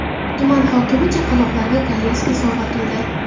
Tuman hokimi chaqaloqlarga kolyaska sovg‘a qildi.